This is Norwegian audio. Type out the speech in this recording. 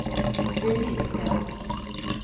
Gunnhild Skaug